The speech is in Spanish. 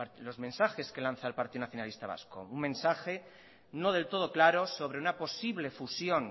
los mensajes que lanza el partido nacionalista vasco un mensaje no del todo claro sobre una posible fusión